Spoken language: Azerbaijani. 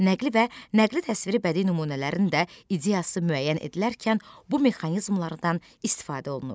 Nəqli və nəqli təsviri bədii nümunələrin də ideyası müəyyən edilərkən bu mexanizmlardan istifadə olunur.